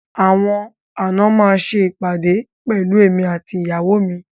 Àwọn àna máa ṣe ìpàdé pẹ̀lú èmi àti ìyàwó mi.